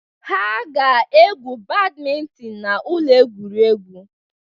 Ha ga-egwu badmintin na ụlọ egwuregwu.